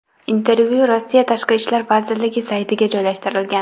Intervyu Rossiya tashqi ishlar vazirligi saytiga joylashtirilgan .